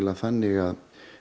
þannig að